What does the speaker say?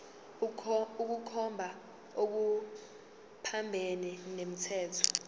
ukukhomba okuphambene nomthetho